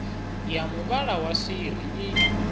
ya muvhala wa swiri i